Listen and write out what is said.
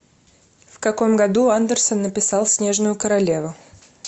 в каком году андерсон написал снежную королеву